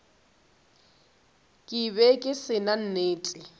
be ke se na nnete